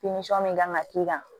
min kan ka k'i kan